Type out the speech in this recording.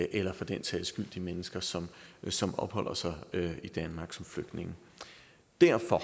eller for den sags skyld de mennesker som som opholder sig i danmark som flygtninge derfor